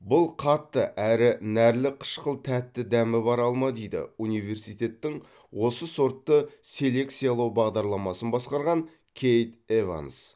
бұл қатты әрі нәрлі қышқыл тәтті дәмі бар алма дейді университеттің осы сортты селекциялау бағдарламасын басқарған кейт эванс